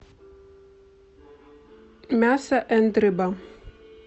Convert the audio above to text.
мясо энд рыба